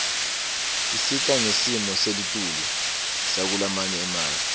isita ngesimo selitulu sakulamanye emave